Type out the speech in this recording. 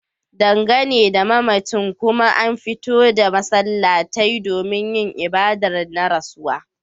Dangane da mamacin kuma an fito da masallatai domin yin ibadar na rasuwa